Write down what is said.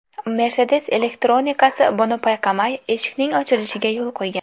Mercedes elektronikasi buni payqamay, eshikning ochilishiga yo‘l qo‘ygan.